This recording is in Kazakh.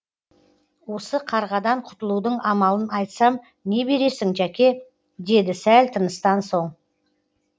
осы қарғадан құтылудың амалын айтсам не бересің жәке деді сәл тыныстан соң